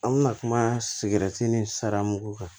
An bɛna kuma sigɛrɛti ni sara mun ko kan